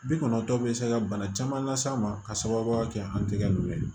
Bi kɔnɔntɔn bɛ se ka bana caman las'an ma ka sababuya kɛ an tɛgɛ nunnu ye